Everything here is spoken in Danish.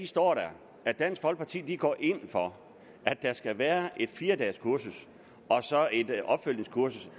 står der at dansk folkeparti går ind for at der skal være et fire dages kursus og så et opfølgningskursus